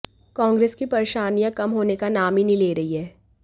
कांग्रेस की परेशानियां कम होने का नाम ही नहीं ले रही हैं